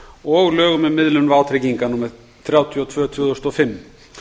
og lögum um miðlun vátrygginga númer þrjátíu og tvö tvö þúsund og fimm